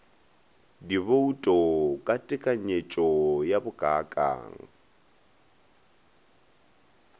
dibouto ka tekanyetšo ya bokaakang